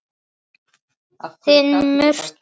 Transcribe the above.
Þinn Murti.